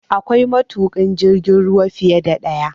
Akwai matuƙan jirgin ruwa fiye da ɗaya